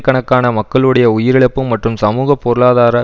கணக்கான மக்களுடைய உயிரிழப்பு மற்றும் சமூக பொருளாதார